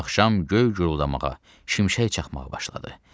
Axşam göy guruldamağa, şimşək çaxmağa başladı.